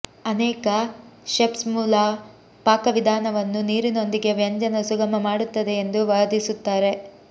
ಅನೇಕ ಷೆಫ್ಸ್ ಮೂಲ ಪಾಕವಿಧಾನವನ್ನು ನೀರಿನೊಂದಿಗೆ ವ್ಯಂಜನ ಸುಗಮ ಮಾಡುತ್ತದೆ ಎಂದು ವಾದಿಸುತ್ತಾರೆ